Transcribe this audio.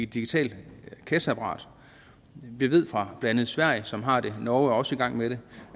digitalt kasseapparat vi ved fra blandt andet sverige som har det norge er også i gang med det